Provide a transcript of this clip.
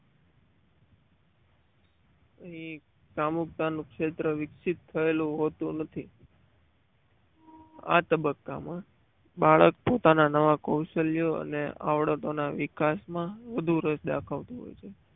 એ કામુકતા નું ક્ષેત્ર વિકસિત થયેલું હોતું નથ આ તબક્કામાં બાળક પોતાના નવા કૌશલ્યો અને આવડતો ના વિકાસમાં વધુ રસ દાખવતું હોય છે.